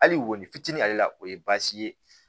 Hali wolonfitinin ale la o ye baasi ye